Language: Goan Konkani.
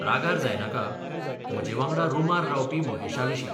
रागार जायनाका, म्हजे वांगडा रुमार रावपी महेशाविशीं.